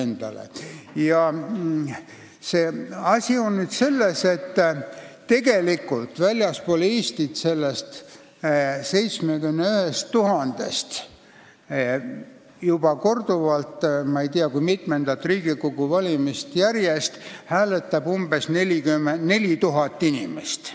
Asi on selles, et nendest 71 000-st väljaspool Eestit elavast inimesest hääletab juba korduvalt, ma ei tea kui mitmendat Riigikogu valimist järjest, umbes 4000 inimest.